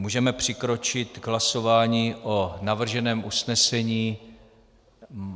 Můžeme přikročit k hlasování o navrženém usnesení.